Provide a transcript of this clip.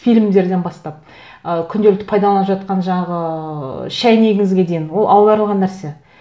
фильмдерден бастап ы күнделікті пайдаланып жатқан жаңағы шәйнегіңізге дейін ол аударылған нәрсе